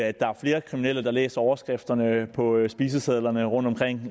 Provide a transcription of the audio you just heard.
at der er flere kriminelle der læser overskrifterne på spisesedlerne rundtomkring